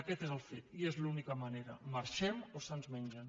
aquest és el fet i és l’única manera marxem o se’ns mengen